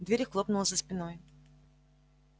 дверь и хлопнула за спиной